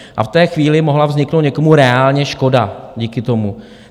A v té chvíli mohla vzniknout někomu reálně škoda díky tomu.